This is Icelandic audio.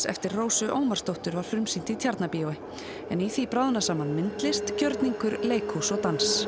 eftir Rósu Ómarsdóttur var frumsýnt í Tjarnarbíói en í því bráðna saman myndlist gjörningur leikhús og dans